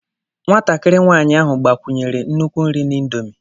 Nwatakịrị nwanyị ahụ gbakwunyere nnukwu nri na indomie.